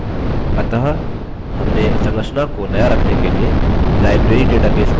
अतः हमने संरचना को नया रखने के लिए library database को परिवर्तित कर दिया